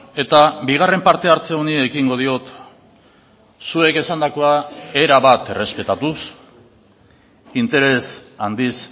eta bigarren parte hartze honi ekingo diot zuek esandakoa erabat errespetatuz interes handiz